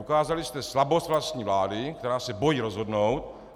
Ukázali jste slabost vlastní vlády, která se bojí rozhodnout.